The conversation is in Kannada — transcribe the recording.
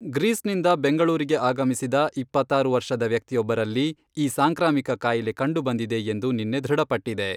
ಗ್ರೀಸ್ನಿಂದ ಬೆಂಗಳೂರಿಗೆ ಆಗಮಿಸಿದ ಇಪ್ಪತ್ತಾರು ವರ್ಷದ ವ್ಯಕ್ತಿಯೊಬ್ಬರಲ್ಲಿ, ಈ ಸಾಂಕ್ರಾಮಿಕ ಕಾಯಿಲೆ ಕಂಡು ಬಂದಿದೆ ಎಂದು ನಿನ್ನೆ ಧೃಢಪಟ್ಟಿದೆ.